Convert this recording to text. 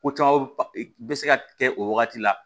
Ko caman bɛ se ka kɛ o wagati la